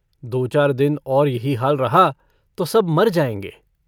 दो-चार दिन और यही हाल रहा तो सब मर जाएंगे।